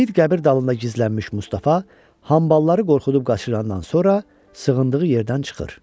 Bir qəbir dalında gizlənmiş Mustafa hambalları qorxudub qaçırandan sonra sığındığı yerdən çıxır.